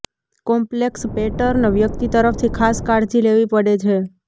complex pattern વ્યક્તિ તરફથી ખાસ કાળજી લેવી પડે છે